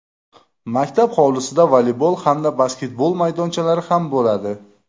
Maktab hovlisida voleybol hamda basketbol maydonchalari ham bo‘ladi.